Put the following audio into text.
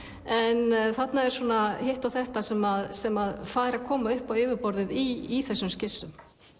en þarna er hitt og þetta sem sem fær að koma upp á yfirborðið í þessum skissum